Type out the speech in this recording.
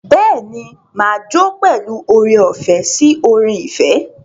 Bẹ́ẹ̀ ni, mà á jó pẹ̀lú oore-ọ̀fẹ́ sí orin ìfẹ́.